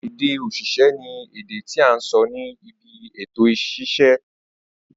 Ède òṣìṣẹ́ ni èdè tí à ń sọ ní ibi èto òṣìṣẹ́.